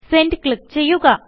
send click ചെയ്യുക